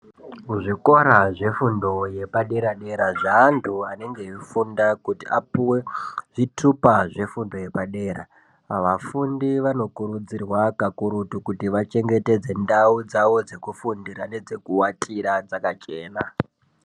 Muzvikora zvefundo yepadera-dera zvaantu anenge eifunda kuti apuve zvitupa zvefundo yepadera. Pavafundi vanokurudzirwa kakurutu kuti vachengetedze ndau dzavo dzekufundira nedzekuvatira dzakachena.